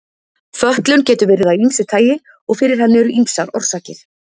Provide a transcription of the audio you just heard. Fötlun getur verið af ýmsu tagi og fyrir henni eru ýmsar orsakir.